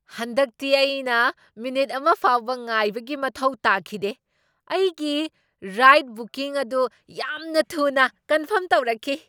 ꯍꯟꯗꯛꯇꯤ ꯑꯩꯅ ꯃꯤꯅꯤꯠ ꯑꯃ ꯐꯥꯎꯕ ꯉꯥꯏꯕꯒꯤ ꯃꯊꯧ ꯇꯥꯈꯤꯗꯦ꯫ ꯑꯩꯒꯤ ꯔꯥꯏꯗ ꯕꯨꯀꯤꯡ ꯑꯗꯨ ꯌꯥꯝꯅ ꯊꯨꯅ ꯀꯟꯐ꯭ꯔꯝ ꯇꯧꯔꯛꯈꯤ!